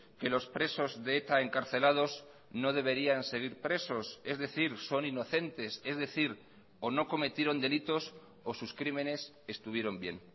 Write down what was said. que los presos de eta encarcelados no deberían seguir presos es decir son inocentes es decir o no cometieron delitos o sus crímenes estuvieron bien